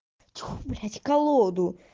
ть-фу блядь колоду